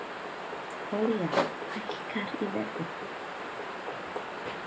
Olía hækkar í verði